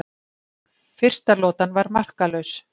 Fyrsta lotan var markalaus